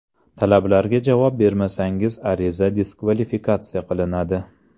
Talablarga javob bermasangiz ariza diskvalifikatsiya qilinadi.